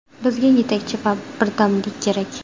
Bizga yetakchi va birdamlik kerak.